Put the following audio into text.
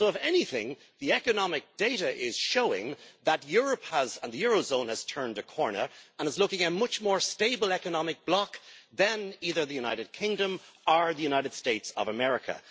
So, if anything, the economic data is showing that Europe and the eurozone have turned a corner and look like a much more stable economic bloc than either the United Kingdom or the United States of America.